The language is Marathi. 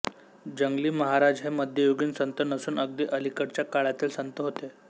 जंगली महाराज हे मध्ययुगीन संत नसून अगदी अलीकडच्या काळातील संत होते